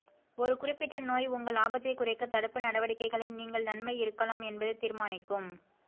ஒரு குறிப்பிட்ட நோய் உங்கள் ஆபத்தை குறைக்க தடுப்பு நடவடிக்கைகளை நீங்கள் நன்மை இருக்கலாம் என்பதை தீர்மானிக்கும்